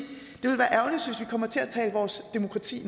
kommer til at tale vores demokrati